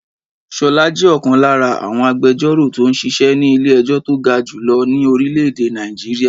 Ṣolá jẹ́ ọ̀kan lára àwọn agbẹjoro tó ń ṣíṣe ni ilé ẹjọ́ tó ga jù lọ ní orílè èdè Nigeria.